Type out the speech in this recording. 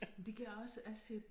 Men det kan jeg også jeg ser